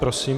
Prosím.